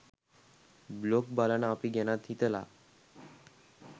blog බලන අපි ගැනත් හිතලා